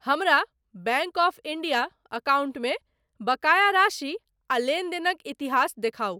हमरा bank of India अकाउंटमे बकाया राशि आ लेनदेनक इतिहास देखाउ।